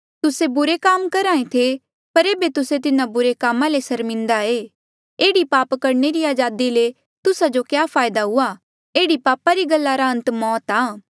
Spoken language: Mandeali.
तुस्से बुरे काम करहे थे पर एेबे तुस्से तिन्हा बुरे कामा ले सर्मिन्दा ऐें एह्ड़ी पाप करणे री अजादी ले तुस्सा जो क्या फायदा हुआ एह्ड़ी पापा री गल्ला रा अंत मौत आ